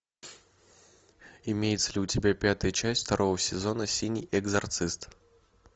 имеется ли у тебя пятая часть второго сезона синий экзорцист